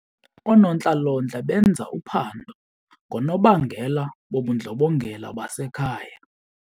Oonontlalontle benza uphando ngoonobangela bobundlobongela basekhaya.